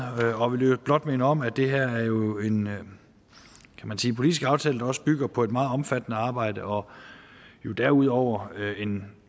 og vil i øvrigt blot minde om at det her jo er en politisk aftale der også bygger på et meget omfattende arbejde og derudover er en